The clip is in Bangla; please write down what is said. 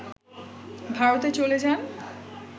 ভারতে চলে যান